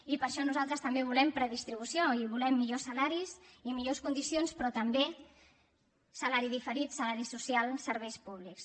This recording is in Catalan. i per això nosaltres també volem redistribució i volem millor salaris i millors condicions però també salari diferit salari social serveis públics